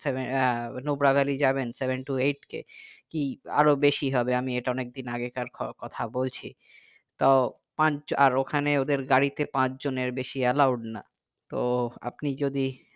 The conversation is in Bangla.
সেভে আহ নুব্রা ভ্যালি যাবেন seven to eight k কি আরো বেশি হবে আমি এটা অনেক দিন আগেকার খ কথা বলছি তো পাঁচ আর ওখানে ওদের গাড়িতে পাঁচ জনের বেশি allowed না তো আপনি যদি